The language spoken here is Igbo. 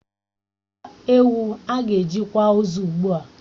Zụta ewu ágà eji kwà ozu ugbua!